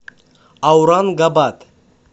аурангабад